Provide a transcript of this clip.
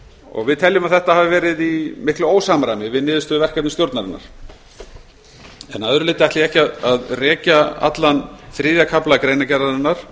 hér við teljum þetta hafi verið í miklu ósamræmi við niðurstöðu verkefnisstjórnarinnar að öðru leyti ætla ég ekki að rekja allan þriðja kafla greinargerðarinnar